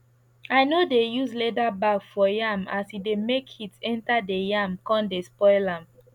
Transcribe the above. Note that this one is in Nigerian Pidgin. i no dey use leather bag for yam as e dey make heat enter the yam con dey spoil am